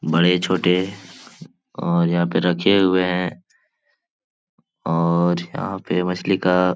बड़े-छोटे और यहाँ पे रखे हुऐं हैं और यहाँ पे मछली का ।